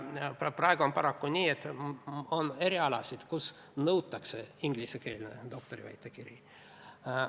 Praegu on paraku nii, et on erialasid, kus nõutakse ingliskeelset doktoriväitekirja.